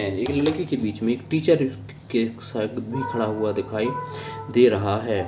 एक लड़की के बीच मे एक टीचर के साथ भी खड़ा हुआ दिखाई दे रहा है।